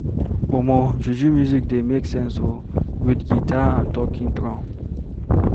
Omo, juju music dey make sense o, wit guitar and talking drum.